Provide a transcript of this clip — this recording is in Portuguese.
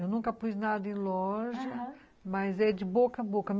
Eu nunca pus nada em loja, aham, mas é de boca a boca.